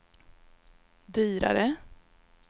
dyrare